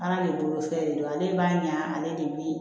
Ala de bolo fɛn de don ale b'a ɲa ne de bi